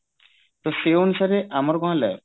ସେଇ ଅନୁସାରେ ଆମର କଣ ହେଲା